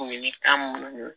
kan munnu